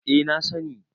eh na sani